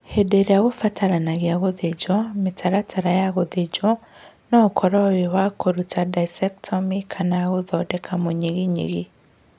Hĩndĩ ĩrĩa kũbatarania gũthĩnjwo, mĩtaratara ya gũthĩnjwo no ũkorwo wĩ wa na kũruta discectomy kana gũthondeka mũnyiginyigi.